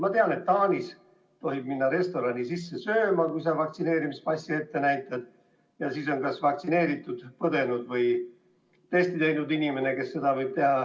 Ma tean, et Taanis tohib minna restorani siseruumi sööma, kui sa vaktsineerimispassi ette näitad, ja seda võivad teha ka haiguse läbipõdenud või testi teinud inimesed.